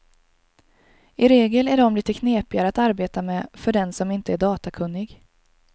I regel är de lite knepigare att arbeta med för den som inte är datakunnig.